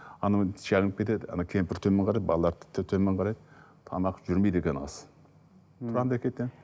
анау шалынып кетеді анау кемпір төмен қарайды балалар да төмен қарайды тамақ жүрмейді екен ас тұрамын да кетемін